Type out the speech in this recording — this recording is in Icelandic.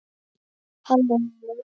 Halló heimur!